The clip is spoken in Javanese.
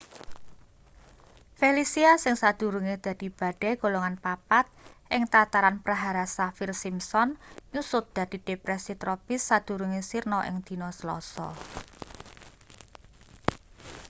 felicia sing sadurunge dadi badai golongan 4 ing tataran prahara saffir-simpson nyusut dadi depresi tropis sadurunge sirna ing dina selasa